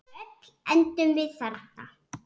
Öll endum við þarna.